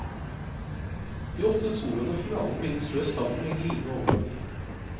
De åtte soloene og finalen bindes løst sammen med glidende overganger.